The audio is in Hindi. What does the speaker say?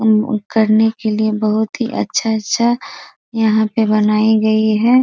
मम करने के लिए बहुत ही अच्छा-सा यहां पे बनाई गई है।